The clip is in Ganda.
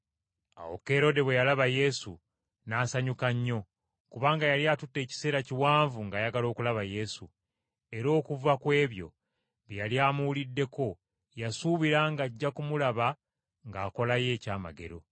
Awo Kerode bwe yalaba Yesu, n’asanyuka nnyo, kubanga yali atutte ekiseera kiwanvu ng’ayagala okulaba Yesu. Era okuva ku ebyo bye yali amuwuliddeko yasuubira ng’ajja kumulaba ng’akolayo ekyamagero.